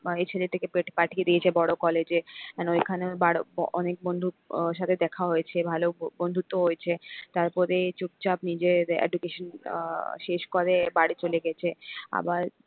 এই ছেলেটিকে পেঠ পাঠিয়ে দিয়েছে বড় college এ and ওইখানে ওর বার অনেক বন্ধুর আহ সাথে দেখা হয়েছে ভালো বন্ধুত্ব হয়েছে তারপরে চুপচাপ নিজের education আহ শেষ করে বাড়ি চলে গেছে আবার,